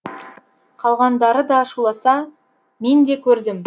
қалғандарыда шуласа мен де көрдім